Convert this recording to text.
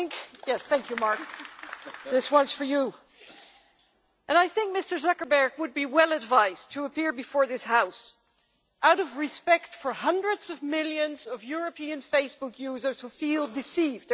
Yes, thank you, Mark, this one's for you! I think Mr Zuckerberg would be well advised to appear before this House out of respect for hundreds of millions of European Facebook users who feel deceived.